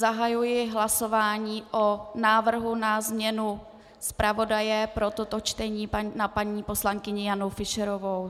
Zahajuji hlasování o návrhu na změnu zpravodaje pro toto čtení na paní poslankyni Janu Fischerovou.